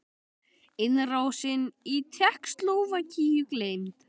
Innrásin í Tékkóslóvakíu gleymd?